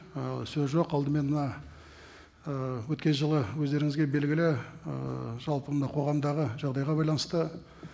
ы сөз жоқ алдымен мына ы өткен жылы өздеріңізге белгілі ііі жалпы мынау қоғамдағы жағдайға байланысты